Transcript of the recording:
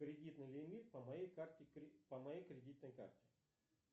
кредитный лимит по моей карте по моей кредитной карте